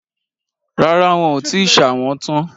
Rárá, wọn ò tíì ṣà wọ́n tán